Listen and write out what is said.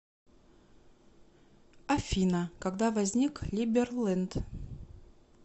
афина когда возник либерленд